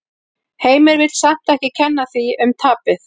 Heimir vill samt ekki kenna því um tapið.